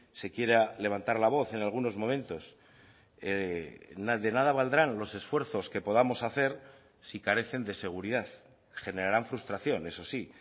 se quiera levantar la voz en algunos momentos de nada valdrán los esfuerzos que podamos hacer si carecen de seguridad generarán frustración eso sí